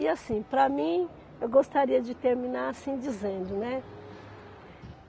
E assim, para mim, eu gostaria de terminar assim, dizendo, né?